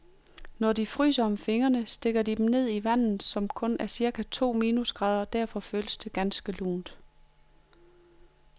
Når de fryser om fingrene, stikker de dem ned i vandet, som kun er cirka to minusgrader og derfor føles ganske lunt.